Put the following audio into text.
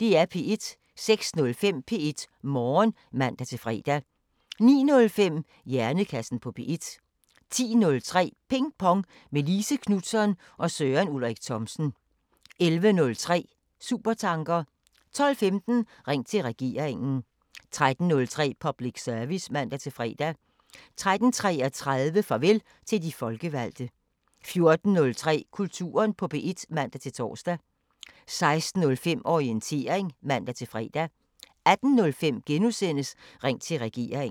06:05: P1 Morgen (man-fre) 09:05: Hjernekassen på P1 10:03: Ping Pong – med Line Knutzon og Søren Ulrik Thomsen 11:03: Supertanker 12:15: Ring til Regeringen 13:03: Public Service (man-fre) 13:33: Farvel til de folkevalgte 14:03: Kulturen på P1 (man-tor) 16:05: Orientering (man-fre) 18:05: Ring til Regeringen *